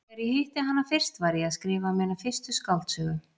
Þegar ég hitti hana fyrst, var ég að skrifa mína fyrstu skáldsögu.